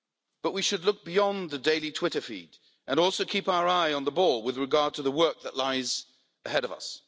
But we should look beyond the daily Twitter feed and also keep our eyes on the ball with regard to the work that lies ahead of us.